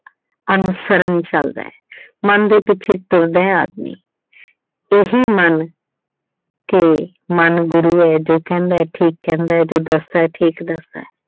ਅਨੁਸਰਣ ਚਲਦਾ ਏ। ਮਨ ਦੇ ਪਿੱਛੇ ਤੁਰਦਾ ਏ ਆਦਮੀ। ਇਹੀ ਮਨ ਕਿ ਮਨ ਗੁਰੂ ਏ ਜੋ ਕਹਿੰਦਾ ਏ ਠੀਕ ਕਹਿੰਦਾ ਏ, ਜੋ ਦੱਸਦਾ ਏ ਠੀਕ ਦੱਸਦਾ ਏ।